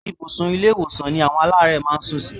Ibùsùn ilé-ìwòsàn ni àwọn aláàárẹ̀ máa ń sún sí